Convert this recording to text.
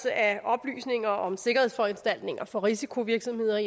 af oplysninger om sikkerhedsforanstaltninger for risikovirksomheder